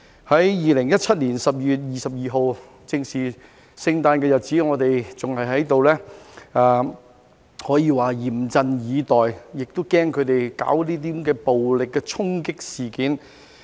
在2017年12月22日，正值聖誕的日子，我們還在這裏可以說是嚴陣以待，也害怕他們搞暴力的衝擊事件。